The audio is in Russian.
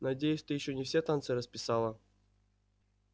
надеюсь ты ещё не все танцы расписала